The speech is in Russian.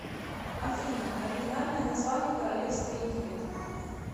афина оригинальное название королевство египет